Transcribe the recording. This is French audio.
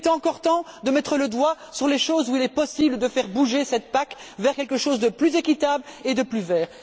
Il est encore temps de mettre le doigt sur les domaines où il est possible de faire bouger cette PAC vers quelque chose de plus équitable et de plus vert.